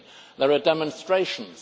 50. There are demonstrations.